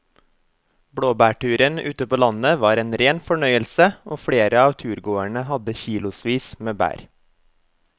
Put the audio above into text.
Blåbærturen ute på landet var en rein fornøyelse og flere av turgåerene hadde kilosvis med bær.